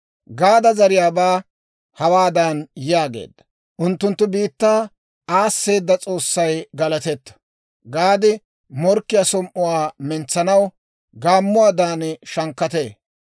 Gaada zariyaabaa hawaadan yaageedda; «Unttunttu biittaa aasseeda S'oossay galatetto; Gaadi morkkiyaa som"uwaa mentsanaw, gaammuwaadan shankkatee.